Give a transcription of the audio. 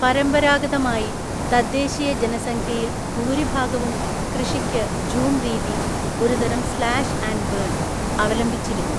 പരമ്പരാഗതമായി, തദ്ദേശീയ ജനസംഖ്യയിൽ ഭൂരിഭാഗവും കൃഷിക്ക് ജൂം രീതി (ഒരു തരം സ്ലാഷ് ആൻഡ് ബേൺ) അവലംബിച്ചിരുന്നു.